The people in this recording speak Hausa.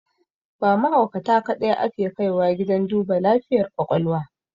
Ba mahaukata kaɗai ake kaiwa gidan duba lafiyar ƙwaƙwalwa